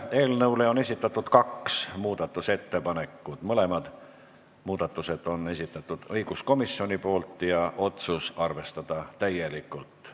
Eelnõu kohta on esitatud kaks muudatusettepanekut, mõlemad on esitanud õiguskomisjon ja otsus on arvestada täielikult.